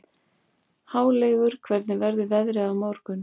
Háleygur, hvernig verður veðrið á morgun?